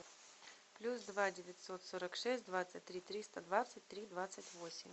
плюс два девятьсот сорок шесть двадцать три триста двадцать три двадцать восемь